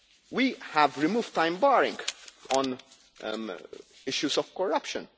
We have removed time barring on issues of corruption.